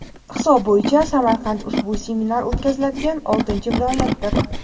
hisob bo‘yicha Samarqand ushbu seminar o‘tkaziladigan oltinchi viloyatdir.